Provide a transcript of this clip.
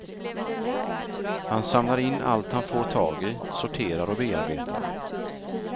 Han samlar in allt han får tag i, sorterar och bearbetar.